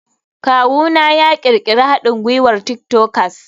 Kawuna ya ƙirƙiri haɗin gwiwar tik tokers.